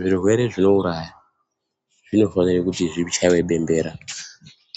Zvirwere zvino uraya zvino fanire kuti zvichayiwe bembera